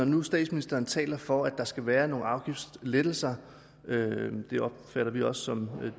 nu statsministeren taler for der skal være nogle afgiftslettelser det opfatter vi også som